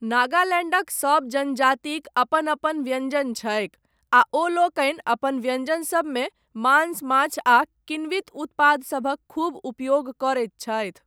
नगालैण्डक सब जनजातिक अपन अपन व्यञ्जन छैक, आ ओलोकनि अपन व्यञ्जन सबमे मांस, माछ आ किण्वित उत्पादसभक खूब उपयोग करैत छथि।